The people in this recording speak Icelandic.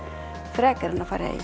frekar en að fara í